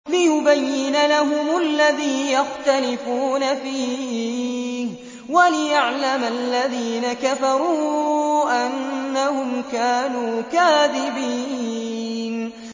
لِيُبَيِّنَ لَهُمُ الَّذِي يَخْتَلِفُونَ فِيهِ وَلِيَعْلَمَ الَّذِينَ كَفَرُوا أَنَّهُمْ كَانُوا كَاذِبِينَ